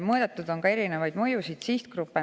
Mõõdetud on ka erinevaid mõjusid sihtgruppidele.